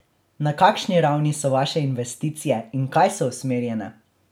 Na kakšni ravni so vaše investicije in v kaj so usmerjene?